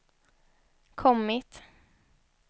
kommit